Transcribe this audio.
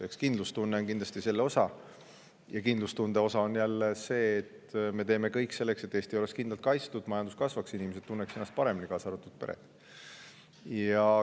Eks kindlustunne ole kindlasti selle osa ja kindlustunde osa on jälle see, et me teeme kõik selleks, et Eesti oleks kindlalt kaitstud, majandus kasvaks, inimesed tunneksid ennast paremini, kaasa arvatud pered.